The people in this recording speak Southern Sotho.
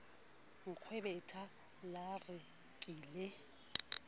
nkgwebetha la re ke le